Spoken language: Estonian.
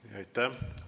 Aitäh!